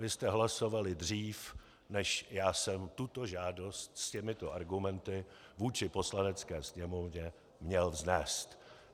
Vy jste hlasovali dřív, než já jsem tuto žádost s těmito argumenty vůči Poslanecké sněmovně měl vznést.